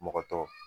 Mɔgɔ tɔ